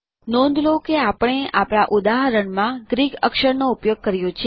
નોંધ લો કે આપણે આપણા ઉદાહરણમાં ગ્રીક અક્ષરોનો ઉપયોગ કર્યો છે